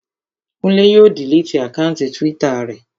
Kúnlé yóò diliti àkáùntì túwítà rẹ̀